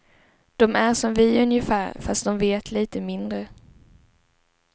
Dom är som vi ungefär fast dom vet lite mindre.